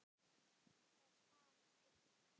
Það sparast eitt í.